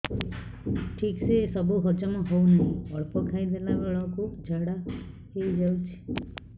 ଠିକସେ ସବୁ ହଜମ ହଉନାହିଁ ଅଳ୍ପ ଖାଇ ଦେଲା ବେଳ କୁ ଝାଡା ହେଇଯାଉଛି